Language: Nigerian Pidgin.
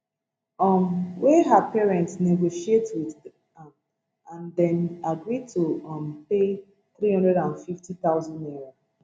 um wey her parents negotiate wit am and dem agree to um pay two hundred and fifty thousand naira